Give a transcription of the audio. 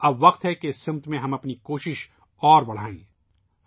اب اس سمت میں اپنی کوششوں کو بڑھانے کا وقت آگیا ہے